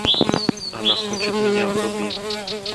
она хочет меня вруби